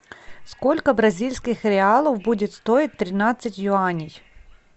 сколько бразильских реалов будет стоить тринадцать юаней